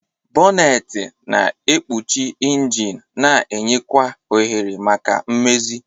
Bonneti na-ekpuchi injin na-enye kwa ohere maka mmezi.